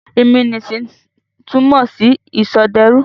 Ìmúnisìn túmọ̀ sí ìsọdẹrú.